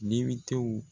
Dibiw